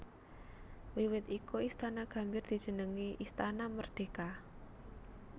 Wiwit iku Istana Gambir dijenengi Istana Merdeka